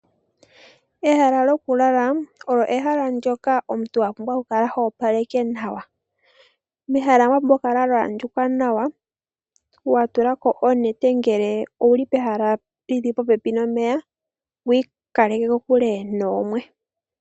Ehala lyokulala olyo ehala ndyoka omuntu wa pumbwa okukala hopaleke nawa. Mehala mwa pumbwa okukala mwa andjuka nawa wa tula ko onete ngele owuli pehala li li popepi nomeya wu ikaleke kokule noomwe.